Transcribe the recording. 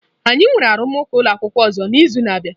Anyị nwere arụmụka ụlọ akwụkwọ ọzọ n'izu na-abịa.